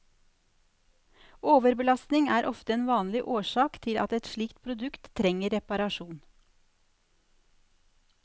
Overbelastning er ofte en vanlig årsak til at et slikt produkt trenger reparasjon.